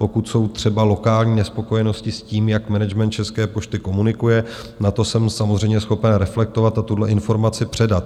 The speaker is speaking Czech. Pokud jsou třeba lokální nespokojenosti s tím, jak management České pošty komunikuje, na to jsem samozřejmě schopen reflektovat a tuhle informaci předat.